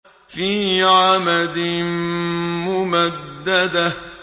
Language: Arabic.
فِي عَمَدٍ مُّمَدَّدَةٍ